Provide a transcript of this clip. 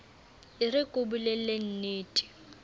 e re ke o bolellennete